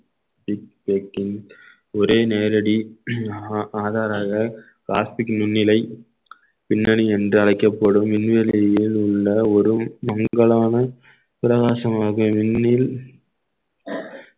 ஒரே நேரடி ஆதா~ ஆதாராக பிளாஸ்டிக் முன்னிலை பின்னணி என்று அழைக்கப்படும் விண்வெளியில் உள்ள ஒரு மங்கலான பிரகாசமாக விண்ணில்